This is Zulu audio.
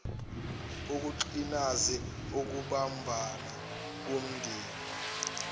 ukugcinas ukubumbana komndeni